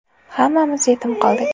Hammamiz yetim qoldik.